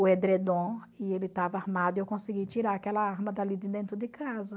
o edredom e ele estava armado e eu consegui tirar aquela arma dali de dentro de casa.